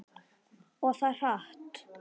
Og það hratt.